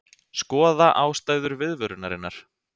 Skoða ástæður viðvörunarinnar